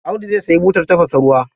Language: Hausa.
Audu za sayi butar tafasa ruwa.